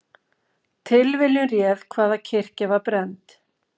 Tilviljun réð hvaða kirkja var brennd